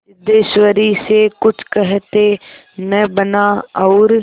सिद्धेश्वरी से कुछ कहते न बना और